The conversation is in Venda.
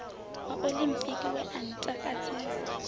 wa oḽimpiki we wa ntakadzesa